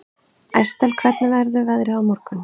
Estel, hvernig verður veðrið á morgun?